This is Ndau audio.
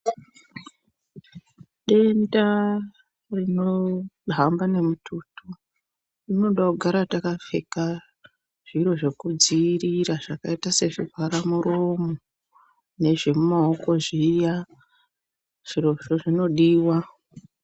Denda rinohamba nemututu rinoda kugara takapfeka zviro zvekudziirira zvakaita sezvivhara muromo nezvemumaoko zviya. Zvirozvo zvinodiwa.